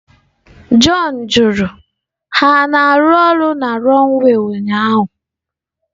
John jụrụ, Ha na-arụ ọrụ na runway ụnyaahụ?